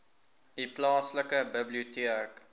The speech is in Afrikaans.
u plaaslike biblioteek